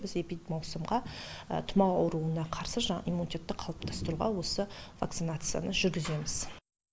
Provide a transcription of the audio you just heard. біз эпидемиялық маусымда тымау ауруына қарсы жаңағы иммунитетті қалыптастыруға осы вакцинацияны жүргіземіз